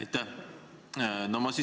Aitäh!